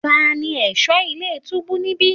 Tani ẹ̀ṣọ́ ilé túbú níbí?